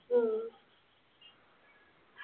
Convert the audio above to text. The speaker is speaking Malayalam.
ഉം